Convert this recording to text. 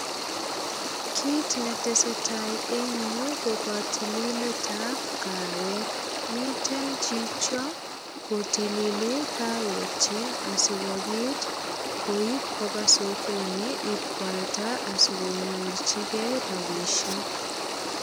Kit ne tesetai eng yu ko kotilileab kawek. Miten chicho kotilili kawekyik asigopit koip koba sokoni ip kwalda asigonyorchigei rapisiek.